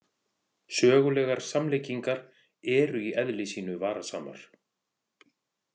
Sögulegar samlíkingar eru í eðli sínu varasamar.